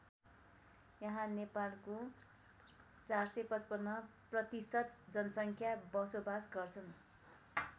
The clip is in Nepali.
यहाँ नेपालको ४५५ प्रतिशत जनसङ्ख्या बसोबास गर्छन्।